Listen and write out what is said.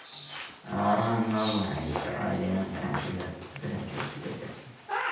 Xoolaha nool waxay ka caawiyaan ganacsiga gudaha iyo dibadda.